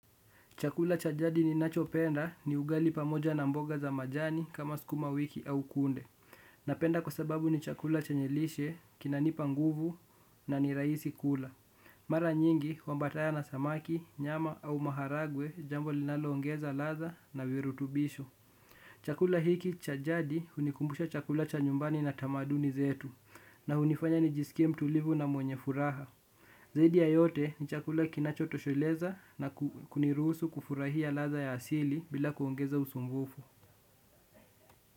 Chakula cha jadi ninachopenda ni ugali pamoja na mboga za majani kama sukuma wiki au kunde. Napenda kwa sababu ni chakula chenye lishe, kinanipa nguvu na niraisi kula. Maranyingi huambataya na samaki, nyama au maharagwe jambo linaloongeza ladha na virutubisho. Chakula hiki cha jadi hunikumbusha chakula cha nyumbani na tamaduni zetu na hunifanya nijisikie mtulivu na mwenye furaha. Zaidi ya yote ni chakula kinacho tosholeza na kuniruhusu kufurahia ladha ya asili bila kuongeza usumbufu.